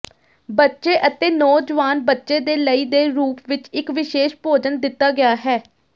ਬੱਚੇ ਅਤੇ ਨੌਜਵਾਨ ਬੱਚੇ ਦੇ ਲਈ ਦੇ ਰੂਪ ਵਿੱਚ ਇੱਕ ਵਿਸ਼ੇਸ਼ ਭੋਜਨ ਦਿੱਤਾ ਗਿਆ ਹੈ